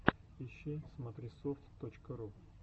ищи смотрисофт точка ру